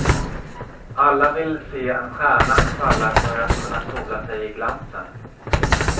Alla vill se en stjärna falla för att kunna sola sig i glansen.